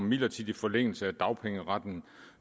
midlertidig forlængelse af dagpengeretten